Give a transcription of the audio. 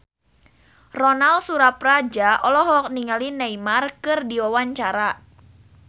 Ronal Surapradja olohok ningali Neymar keur diwawancara